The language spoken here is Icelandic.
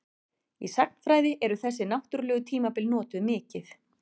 Í sagnfræði eru þessi náttúrlegu tímabil notuð mikið.